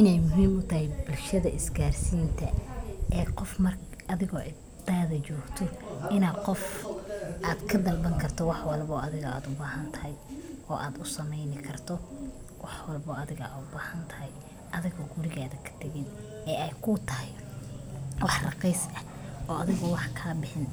Inay muhim utahay bulshada is garsinta ee qof mark athigo cidada jogto inad qof adka dalban karto wax walbo athiga ad bahantahay, o ad u sameynikarto wax walbo athiga ubahantahay, athigo guriga katagin ee ay kutahay wax raqis ah o athiga o wax kabixin